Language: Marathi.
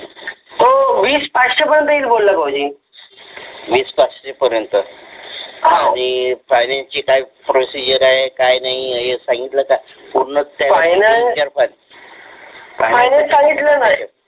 वीस पाचशे पर्यंत येईल बोलला भाऊजी आणि फायनान्स ची काय प्रोसिजर आहे काय नाही हे सांगितलं का पूर्ण फायनल सांगितलं ना